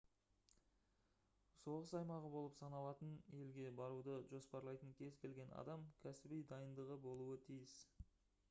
соғыс аймағы болып саналатын елге баруды жоспарлайтын кез-келген адам кәсіби дайындығы болуы тиіс